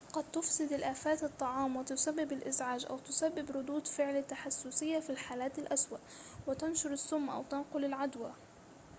قد تُفسد الآفات الطعام وتسبب الإزعاج أو تسبب ردود فعل تحسسية في الحالات الأسوأ وتنشر السم أو تنقل العدوى